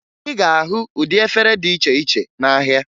Ị ga-ahụ ụdị efere dị iche iche n'ahịa